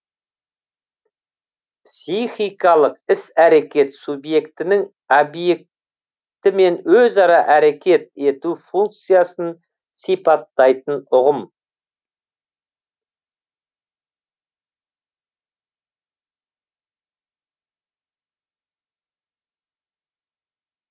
психикалық іс әрекет субъектінің объектімен өзара әрекет ету функциясын сипаттайтын ұғым